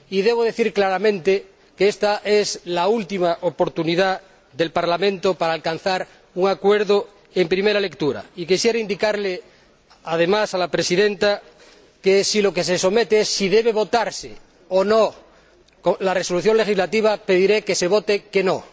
Debo decir claramente que esta es la última oportunidad del Parlamento para alcanzar un acuerdo en primera lectura y quisiera indicarle, además, a la Presidenta que, si lo que se somete a votación es si debe votarse o no el proyecto de resolución legislativa, pediré que se vote que no.